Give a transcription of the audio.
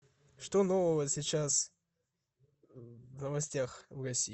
что нового сейчас в новостях в россии